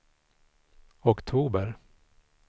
oktober